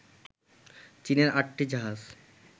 চীনের আটটি জাহাজ